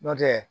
Nɔntɛ